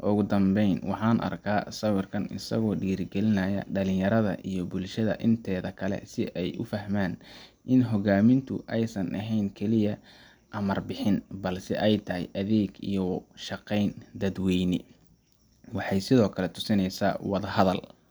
Ugu dambeyn, waxaan arkaa sawirkan isagoo dhiirrigelinaya dhalinyarada iyo bulshada inteeda kale si ay u fahmaan in hoggaamintu aysan ahayn keliya amar-bixin, balse ay tahay adeeg iyo u shaqayn dadweyne. Waxay sidoo kale tusinaysaa in wada hada.